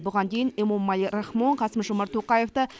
бұған дейін эмомали рахмон қасым жомарт тоқаевты